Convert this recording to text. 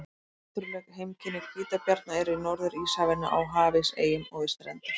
Náttúruleg heimkynni hvítabjarna eru í Norður-Íshafinu, á hafís, eyjum og við strendur.